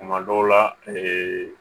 Tuma dɔw la ee